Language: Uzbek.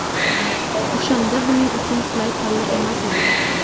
O‘shanda buning uchun qulay palla emas edi.